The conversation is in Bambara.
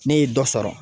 Ne ye dɔ sɔrɔ